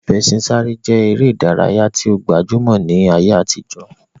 Ìfẹṣinsáré je ere idaraya yi o gbajumo ni aye atijo.